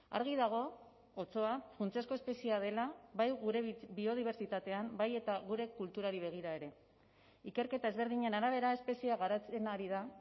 argi dago otsoa funtsezko espeziea dela bai gure biodibertsitatean bai eta gure kulturari begira ere ikerketa ezberdinen arabera espeziea garatzen ari da